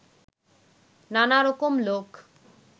নানা রকম লোক